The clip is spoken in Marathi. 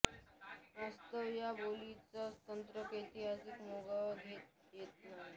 यास्तव या बोलीचा स्वतंत्रपणे ऐतिहासिक मागोवा घेता येत नाही